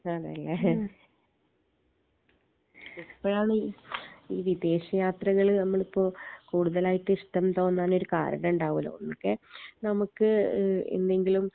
ഇതാണ് ലെ എപ്പഴാണീ ഈ വിദേശ യാത്രകൾ നമ്മളിപ്പോ കൂടുതലായിട്ട് ഇഷ്ട്ടം തോന്നാനൊരു കാരണ ണ്ടാവോലോ ഇൻക്ക് നമ്മ്ക്ക് ഏഹ് എന്നെങ്കിലും